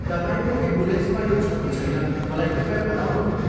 तपाईँको एम्बुलेन्समा यो छ कि छैन मलाई कृपया बताउनुहोला।